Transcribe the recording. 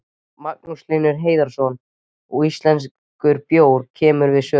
Magnús Hlynur Hreiðarsson: Og íslenskur bjór kemur við sögu?